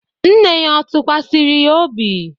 Nne ya ọ̀ tụkwasịrị ya obi?